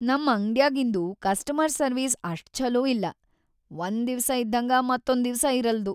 ನಮ್‌ ಅಂಗ್ಡ್ಯಾಗಿಂದು customer service ಅಷ್ಟ್‌ ಛಲೋ ಇಲ್ಲಾ, ಒಂದ್‌ ದಿವ್ಸ ಇದ್ದಂಗ ಮತ್ತೊಂದ್‌ ದಿವ್ಸ ಇರಲ್ದು.